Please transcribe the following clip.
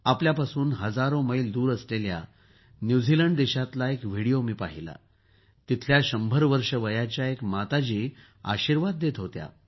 आपल्यापासून हजारो मैल दूर असलेल्या न्यूझीलंड देशातला एक व्हिडीओ मी पाहिला तिथल्या शंभर वर्ष वयाच्या एक मातोश्री आपल्याला आशीर्वाद देत होत्या